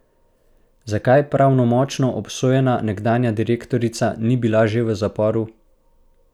Zakaj pravnomočno obsojena nekdanja direktorica ni bila že v zaporu?